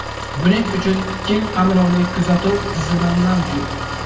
Buning uchun keng qamrovli kuzatuv tizimi mavjud.